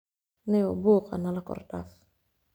Nio buuqa nalakordaaf.